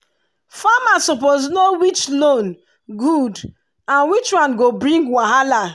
farmer suppose know which loan good and which one go bring wahala.